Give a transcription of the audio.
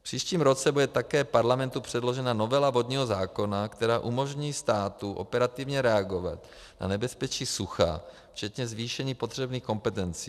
V příštím roce bude také Parlamentu předložena novela vodního zákona, která umožní státu operativně reagovat na nebezpečí sucha včetně zvýšení potřebných kompetencí.